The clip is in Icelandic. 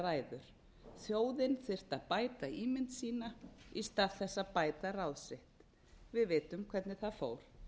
ræður þjóðin þyrfti að bæta ímynd sína í stað þess að bæta ráð sitt við vitum hvernig það fór